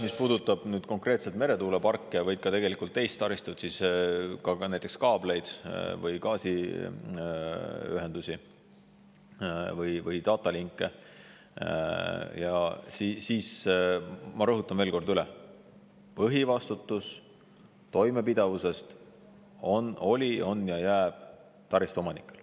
Mis puudutab konkreetselt meretuuleparke või tegelikult ka muud taristut, näiteks kaableid või gaasiühendusi või data link'e, ma rõhutan veel kord üle: põhivastutus toimepidevuse eest oli, on ja jääb taristu omanikele.